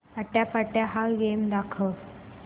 आट्यापाट्या हा गेम दाखव